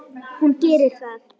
Hún gerir það.